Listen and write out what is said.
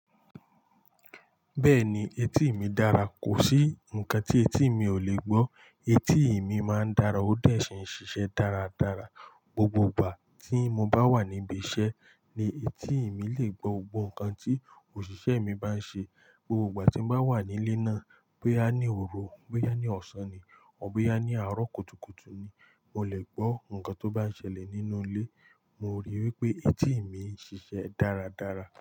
Bẹ́ẹ̀ni, etí mi dára. Kò sí nǹkan tí etí mi ò lè gbọ́. Etí mi máa ń dára ó de sì ń ṣiṣẹ́ dáradára. Gbogbo ìgbà tí mo bá wà ní ibi iṣẹ́ ni etí mi lè gbọ́ gbogbo nkan tí òṣìṣẹ́ mi bá ń ṣe. Gbogbo ìgbà tí mo bá wà nílé náà, bóyá ní òru, bóyá ní ọ̀sán ni, or bóyá ní àárọ̀ kùtùkùtù ni, mo lè gbọ́ nkan tó bá ń ṣẹlẹ̀ nínú ilé. Mo rí i wí pé etí mi ń ṣiṣẹ́ dáradára.